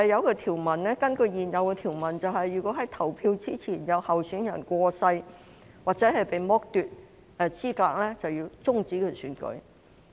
根據原有條文，如果在選舉日期前有候選人過世或被剝奪資格，便須終止選舉。